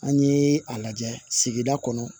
An ye a lajɛ sigida kɔnɔ